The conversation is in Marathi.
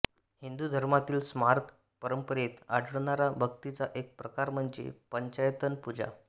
हिंदू धर्मातील स्मार्त परंपरेत आढळणारा भक्तीचा एक प्रकार म्हणजे पंचायतन पूजा